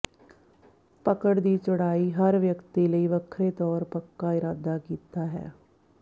ਪਕੜ ਦੀ ਚੌੜਾਈ ਹਰ ਵਿਅਕਤੀ ਲਈ ਵੱਖਰੇ ਤੌਰ ਪੱਕਾ ਇਰਾਦਾ ਕੀਤਾ ਹੈ